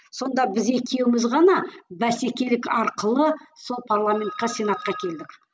сонда біз екеуміз ғана бәсекелік арқылы сол парламентке сенатқа келдік